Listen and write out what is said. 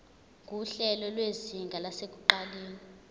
nguhlelo lwezinga lasekuqaleni